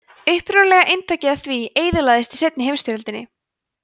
upprunalega eintakið af því eyðilagðist í seinni heimsstyrjöldinni